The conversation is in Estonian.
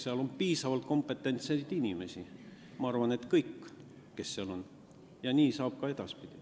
Seal on piisavalt kompetentseid inimesi, ma arvan, et kompetentsed on kõik, kes seal on, ja nii saab see olema ka edaspidi.